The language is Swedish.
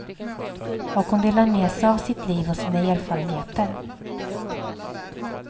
Och hon delar med sig av sitt liv och sina erfarenheter.